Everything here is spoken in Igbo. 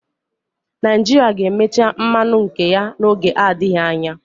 Naijirịa ga-emecha mmanụ nke ya n'oge adịghị anya.